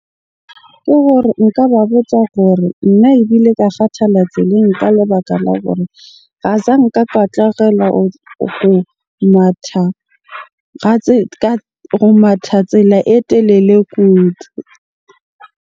Ke gore nka ba botsa hore nna ebile ka kgathala tseleng ka lebaka la gore azanka ka ho matha go matha tsela e telele kudu.